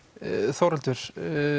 Þórhildur